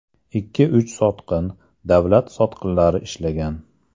Ikki-uch sotqin, davlat sotqinlari ishlagan.